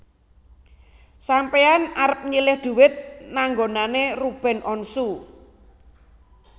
Sampean arep nyilih duit nang nggonane Ruben Onsu